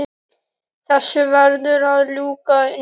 Þessu verður að ljúka núna